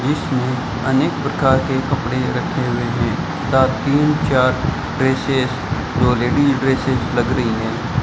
इसमें अनेक प्रकार के कपड़े रखे हुए हैं तथा तीन चार ड्रेसज जो लेडीज ड्रेसज लग रही हैं।